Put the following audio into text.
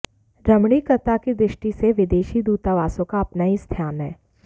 रमणीकता की दृष्टि से विदेशी दूतावासों का अपना ही स्थान है